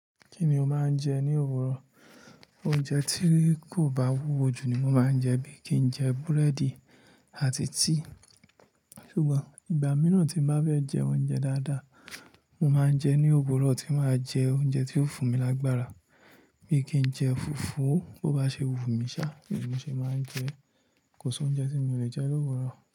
Kí ni o máa ń jẹ ní òwúrọ̀? Oúnjẹ tí kò bá wúwo jù ni mo máa ń jẹ bí i kí n jẹ búrẹ́dì àti tíì. Ṣùgbọ́n ìgbà mìíràn tí n bá fẹ́ jẹ oúnjẹ dáadáa, mo máa ń jẹ ní òwúrọ̀ tí màá jẹ oúnjẹ ti ó fún mi lágbára bíi kí n jẹ fùfú. Bo bá ṣe wù mí ṣá, bẹ́ẹ̀ ni mo ṣe máa ń jẹ. Kò sí oúnjẹ tí mi ò lè jẹ l'òwúrọ̀.